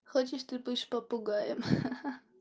хочешь ты будешь попугаем ха-ха